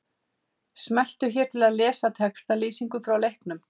Smelltu hér til að lesa textalýsingu frá leiknum.